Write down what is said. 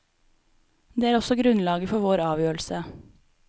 Det er også grunnlaget for vår avgjørelse.